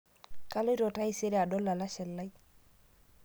Kaloito taisere adol lalashe lai